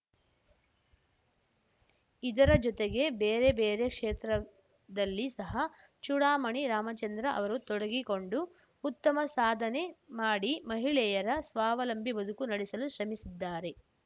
ಇದರ ಜೊತೆಗೆ ಬೇರೆ ಬೇರೆ ಕ್ಷೇತ್ರದಲ್ಲಿ ಸಹ ಚೂಡಾಮಣಿ ರಾಮಚಂದ್ರ ಅವರು ತೊಡಗಿಕೊಂಡು ಉತ್ತಮ ಸಾಧನೆ ಮಾಡಿ ಮಹಿಳೆಯರ ಸ್ವಾವಲಂಭಿ ಬದುಕು ನಡೆಸಲು ಶ್ರಮಿಸಿದ್ದಾರೆ